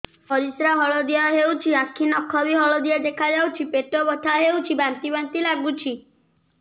ପରିସ୍ରା ହଳଦିଆ ହେଉଛି ଆଖି ନଖ ବି ହଳଦିଆ ଦେଖାଯାଉଛି ପେଟ ବଥା ହେଉଛି ବାନ୍ତି ବାନ୍ତି ଲାଗୁଛି